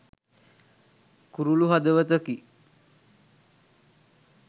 කුරුලු හදවතකි